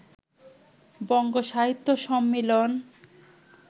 বঙ্গ সাহিত্য সম্মিলন